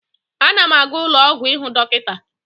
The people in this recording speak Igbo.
Ana m aga ụlọ ọgwụ ịhụ dọkịta.